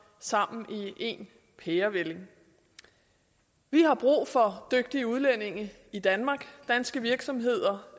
sammen i én pærevælling vi har brug for dygtige udlændinge i danmark danske virksomheder